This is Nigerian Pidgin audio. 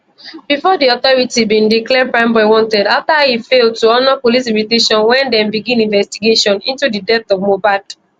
bifor di authorities bin declare primeboy wanted afta e fail to honour police invitation wen dem begin investigation into di death of mohbad